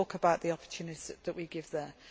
We talk about the opportunities that we have